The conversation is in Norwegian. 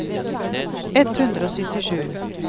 ett hundre og syttisju